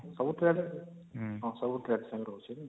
ସବୁ trade ହଁ ସବୁ trade same ରହୁଛି ନାଇଁ